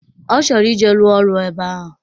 Ọ chọrọ ije ruo ọrụ ebe ahụ